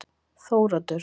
Þóroddur